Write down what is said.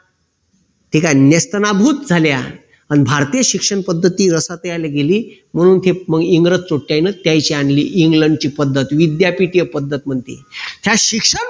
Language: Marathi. ठीक आहे. नेस्तनाभूत झाल्या. अन भारतीय शिक्षणपद्धती रसातीयाला गेली म्हणून इंग्रज त्यांची आणली इंग्लंड ची पद्धत विद्यापीठीय पद्धत म्हणते ह्या शिक्षण